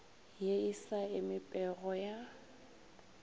ye e sa emipego ya